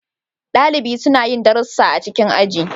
Dalibi suna yin darussa a cikin aji.